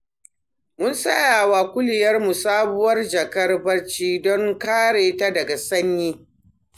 Mun saya wa kuliyarmu sabuwar jakar bacci don kare ta daga sanyi.